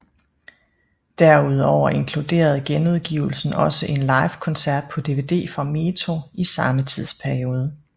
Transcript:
Derudover inkluderede genudgivelsen også en livekoncert på dvd fra Metro i samme tidsperiode